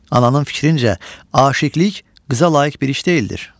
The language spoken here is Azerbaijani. Ananın fikrincə, aşiqilik qıza layiq bir iş deyildir.